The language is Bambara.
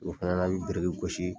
O fɛnɛ la an bɛ biriki gosi,